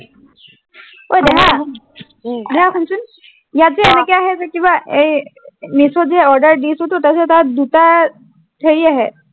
ঐ দেহা, উম দেহা শুনচোন, উম ইয়াত যে এনেকে আহে, কিবা এই মিচোত যে order তাৰপিচত তাত দুটা, হেৰি আহে